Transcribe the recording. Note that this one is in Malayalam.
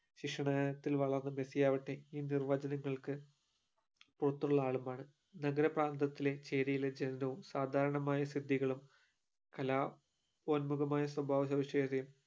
ശിക്ഷണത്തിൽ വളർന്ന മെസ്സിയവട്ടെ ഈ നിർവജങ്ങൾക്കു പൊറത്തുള്ള ആളുമാണ് നഗരപ്രാന്തത്തിലെ ചെരീലെ ചലനവും സദാരാനാമായ സിദ്ദികളും കലാ ഓണമാകമായ സ്വഭാവ സവിഷേഷതയും